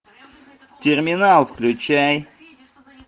терминал включай